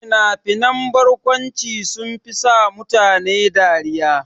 Fina-finan barkwanci sunfi sa mutane dariya.